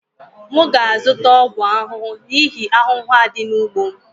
M ga-azụta ọgwụ ahụhụ n'ihi ahụhụ a dị n'ugbo m